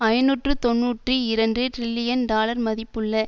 ஐநூற்று தொன்னூற்றி இரண்டு டிரில்லியன் டாலர் மதிப்புள்ள